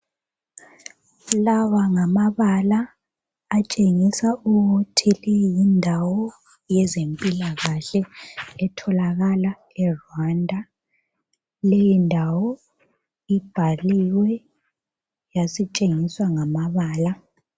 Lawa ngamabala atshengisa ukuthi leyi yindawo yezempilakahle etholakala eRwanda , leyi ndawo ibhaliwe yasitshengiswa ngamabala.